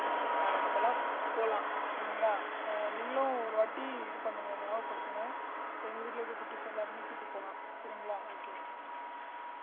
அஹ் நம்ம எல்லாம் போலாம் சரிங்களா நீங்களும் ஒரு வாட்டி இது பண்ணுங்க ஞாபகப்படுத்துங்க எங்க வீட்டுல இருக்க குட்டீஸ் எல்லாரையுமே கூட்டிட்டு போலாம் சரிங்களா okay